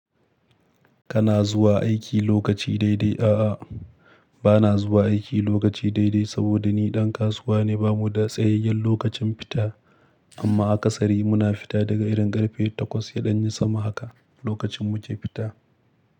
Kana zuwa aiki lokaci daidai? A'a, ba na zuwa aiki lokaci daidai saboda ni ɗan kasuwa ne. Ba mu da tsayayyen lokacin fita, amma akasari muna fita daga irin ƙarfe takwas yaɗanyi sama haka, lokacin mu ke fita.